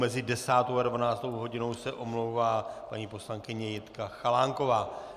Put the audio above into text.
Mezi 10. a 12. hodinou se omlouvá paní poslankyně Jitka Chalánková.